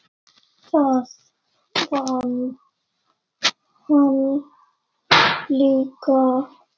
Það vann hann líka.